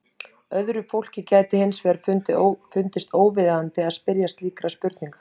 öðru fólki gæti hins vegar fundist óviðeigandi að spyrja slíkra spurninga